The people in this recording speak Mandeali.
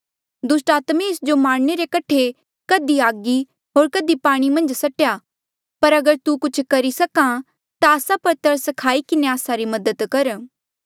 दुस्टात्मे एस जो नास करणे रे कठे कधी आगी होर कधी पाणी मन्झ सट्टी पर अगर तू कुछ करी सक्हा ता आस्सा पर तरस खाई किन्हें आस्सा री मदद कर